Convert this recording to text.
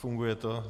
Funguje to?